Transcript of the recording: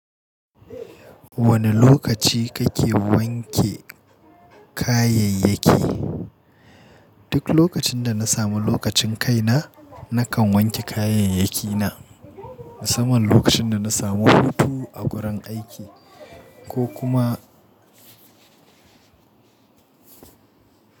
Wane lokaci kake wanke kayayyaki? Duk lokacin da na samu lokacin kai na, nakan wanke kayayyaki na. Musamman lokacin da na samu hutu a gurin aiki ko kuma.